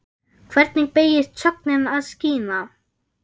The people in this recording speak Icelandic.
Hvernig beygist sögnin að skína?